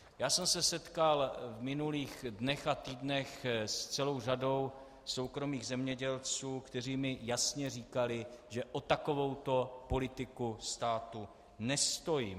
Já jsem se setkal v minulých dnech a týdnech s celou řadou soukromých zemědělců, kteří mi jasně říkali, že o takovouto politiku státu nestojí.